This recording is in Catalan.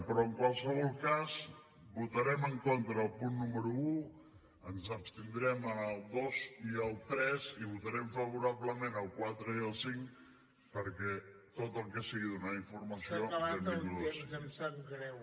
però en qualsevol cas votarem en contra del punt número un ens abstindrem en el dos i el tres i votarem favorablement el quatre i el cinc perquè tot el que sigui donar informació benvingut sigui